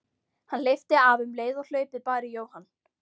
Hann hleypti af um leið og hlaupið bar í Jóhann.